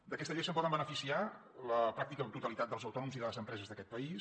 d’aquesta llei se’n poden beneficiar la pràctica totalitat dels autònoms i de les empreses d’aquest país